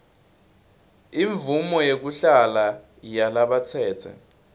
imvumo yekuhlala yalabatsetse